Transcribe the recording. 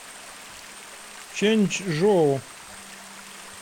чэньчжоу